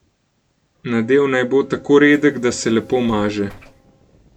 Nadev naj bo tako redek, da se lepo maže.